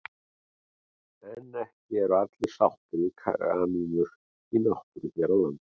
En ekki eru allir sáttir við kanínur í náttúrunni hér á landi.